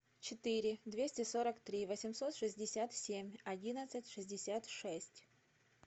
четыре двести сорок три восемьсот шестьдесят семь одиннадцать шестьдесят шесть